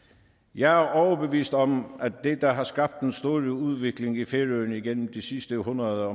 jeg er overbevist om at det der har skabt den store udvikling i færøerne igennem de sidste hundrede